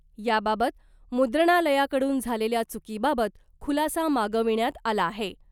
याबाबत मुद्रणालयाकडून झालेल्या चुकीबाबत खुलासा मागविण्यात आला आहे .